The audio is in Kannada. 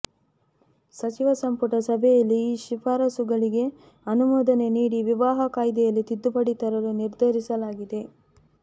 ಸಚಿವ ಸಂಪುಟ ಸಭೆಯಲ್ಲಿ ಈ ಶಿಫಾರಸುಗಳಿಗೆ ಅನುಮೋದನೆ ನೀಡಿ ವಿವಾಹ ಕಾಯ್ದೆಯಲ್ಲಿ ತಿದ್ದುಪಡಿ ತರಲು ನಿರ್ಧರಿಸಲಾಗಿದೆ